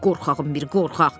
Qorxağın bir qorxaq.